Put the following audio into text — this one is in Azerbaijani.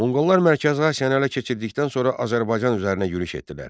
Monqollar Mərkəzi Asiyanı ələ keçirdikdən sonra Azərbaycan üzərinə yürüş etdilər.